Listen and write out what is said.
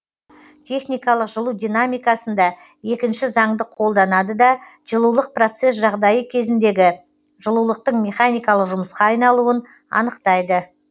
техникалық жылу динамикасында екінші заңды қолданады да жылулық процесс жағдайы кезіндегі жылулықтың механикалық жұмысқа айналуын анықтайды